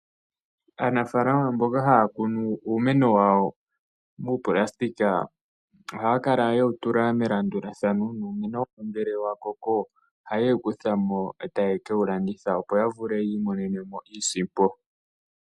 Aanafalama mboka haya kunu uumeno wawo mupulasitika ohayakala wewutula melandulathano nongele wakoko oha yewukuthamo ota ya kewulandithapo opo yavule yimonene iisimpo.